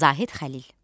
Zahid Xəlil.